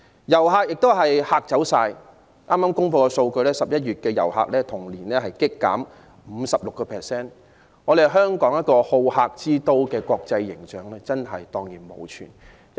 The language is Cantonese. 遊客亦被嚇退，剛公布的數據顯示 ，11 月份的訪港旅客人數較去年同期急跌 56%， 香港好客之都的國際形象蕩然無存。